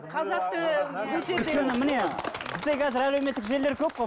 қазақтың ы бізде қазір әлеуметтік желілер көп қой